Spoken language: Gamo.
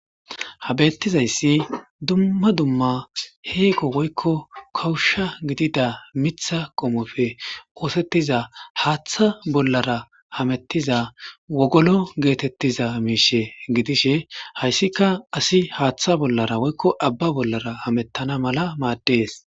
Habettizayssi dumma dumma heeqo woykko kawusha gidida mitha qomofe oosettiza haaththa bollara hamettiza wogolo geetettiza miishe gidishe hayssika asi haaththa bollara woykko abba bollara hamettana mala maaddees.